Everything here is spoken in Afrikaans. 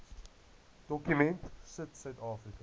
dokument sit suidafrika